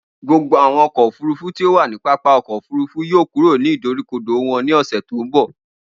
Gbogbo awọn ọkọ ofurufu ti o wa ni pápá ọkọ ofurufu yoo kuro ni idorikodo wọn ni ọsẹ to nbọ.